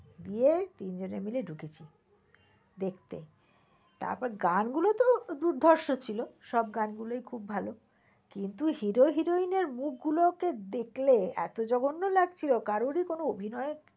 গিয়ে তিন জনে মিলে ঠুকেছি দেখতে, তারপর গান গুলো তো দুর্ধর্ষ ছিল। সব গান গুলোই খুব ভাল। কিন্তু hero heroine এর মুখ গুলোকে দেখলে এত জগন্য লাগছিল কারো ই কোন অভিনয়ের